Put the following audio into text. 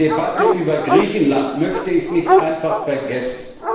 Die Debatte über Griechenland möchte ich nicht einfach vergessen.